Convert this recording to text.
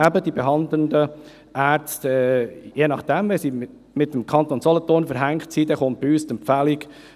Eben, die behandelnden Ärzte – je nachdem, ob sie mit dem Kanton Solothurn verbandelt sind, kommt bei uns die Empfehlung: